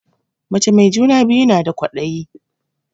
Mace mai juna biyu na da kwadayi